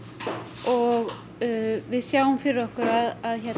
og við sjáum fyrir okkur að